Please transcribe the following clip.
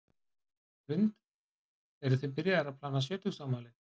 Hrund: Eruð þið byrjaðar að plana sjötugsafmælið?